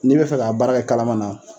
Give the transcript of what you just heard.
N'i b bɛ fɛ k'a baara kɛ kalaman na.